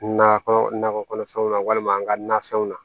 Nakɔ nakɔ kɔnɔfɛnw na walima an ka nafɛnw na